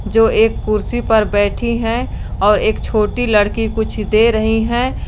जो एक कुर्सी पर बैठी है और एक छोटी लड़की कुछ दे रही है।